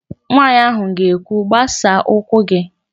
Nwaanyị ahụ ga-ekwu, "gbasaa ụkwụ gị"!